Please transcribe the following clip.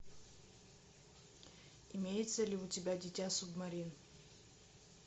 имеется ли у тебя дитя субмарин